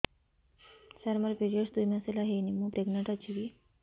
ସାର ମୋର ପିରୀଅଡ଼ସ ଦୁଇ ମାସ ହେଲା ହେଇନି ମୁ ପ୍ରେଗନାଂଟ ଅଛି କି